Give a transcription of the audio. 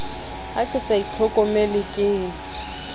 ha ke sa itlhokomele ke